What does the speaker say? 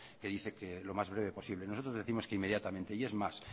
que dice que lo más breve posible nosotros décimos que inmediatamente es más